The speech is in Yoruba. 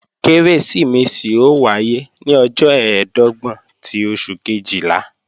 Kérésìmesì ó wáyé ní ọjọ́ ẹ̀ẹ́dọ́gbọ̀n ti oṣù Kejìlá